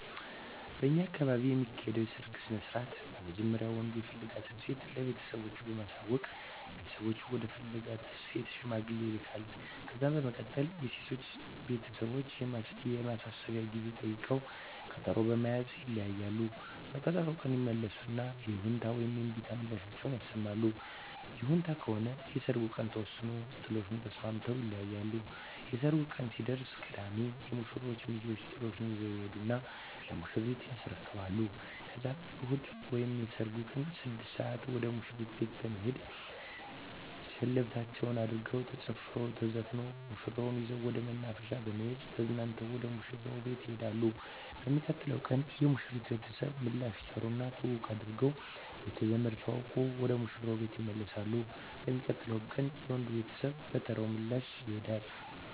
በእኛ አካባቢ የሚካሄደዉ የሰርግ ስነስርአት በመጀመሪያ ወንዱ የፈለጋትን ሴት ለቤተሰቦቹ በማሳወቅ ቤተሰቦቹ ወደ ፈለጋት ሴት ሽማግሌ ይላካል። ከዛ በመቀጠል የሴቶቹ ቤተሰቦች የማሰቢያ ጊዜ ጠይቀዉ ቀጠሮ በመያዝ ይለያያሉ። በቀጠሮዉ ቀን ይመለሱና የይሁንታ ወይም የእምቢታ ምላሻቸዉን ይሰማሉ። ይሁንታ ከሆነ የሰርጉ ቀን ተወስኖ ጥሎሹን ተስማምተዉ ይለያያሉ። የሰርጉ ቀን ሲደርስ ቅዳሜ የሙሽሮቹ ሚዜወች ጥሎሹን ይዘዉ ይሄዱና ለሙሽሪት ያስረክባሉ ከዛም እሁድ ወይም የሰርጉ ቀን 6 ሰአት ወደ ሙሽሪት ቤት በመሄድ ሸለበታቸዉን አድርገዉ ተጨፍሮ ተዘፍኖ ሙሽራዋን ይዘዉ ወደ መናፈሻ በመሄድ ተዝናንተዉ ወደ ሙሽራዉ ቤት ይሄዳሉ። በሚቀጥለዉ ቀን የሙሽሪት ቤተሰብ ምላሽ ይጠሩና ትዉዉቅ አድርገዉ ቤተዘመድ ተዋዉቀዉ ወደ ሙሽራዉ ቤት ይመለሳሉ። በሚቀጥለዉ ቀንም የወንዱ ቤተሰብ በተራዉ ምላሽ ያደ